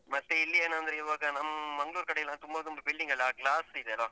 ಮತ್ತೆ ಇಲ್ಲಿ ಏನಂದ್ರೆ ಈವಾಗ ನಮ್ ಮಂಗ್ಳೂರ್ ಕಡೆ ಎಲ್ಲ ತುಂಬ ತುಂಬ building ಎಲ್ಲ ಆ glass ಇದೆ ಅಲ.